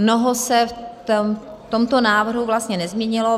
Mnoho se v tomto návrhu vlastně nezměnilo.